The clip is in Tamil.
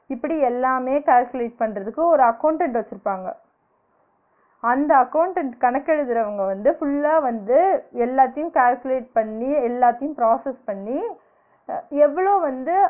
இப்பிடி எல்லாமே calculate பண்றதுக்கு ஒரு accountant வச்சிருப்பாங்க அந்த accountant கணக்கு எழுதுறவங்க வந்து full ஆ வந்து எல்லாத்தையும் calculate பண்ணி எல்லாத்தையும் process பண்ணி அஹ் எவ்ளோ வந்து